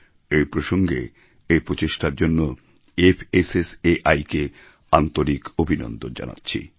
এই প্রসঙ্গে এই প্রচেষ্টার জন্য FSSAIকে আন্তরিক অভিনন্দন জানাচ্ছি